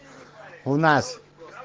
у нас